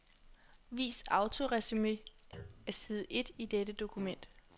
Vis autoresumé af side et i dette dokument.